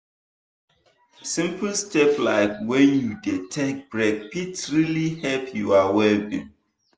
simple step like when you dey take break fit really help your well-being.